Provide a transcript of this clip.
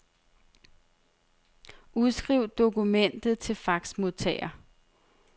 Udskriv dokumentet til faxmodtager.